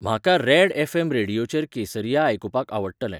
म्हाका red F M रेडीयोचेर केसरीया आयकुपाक आवडटलें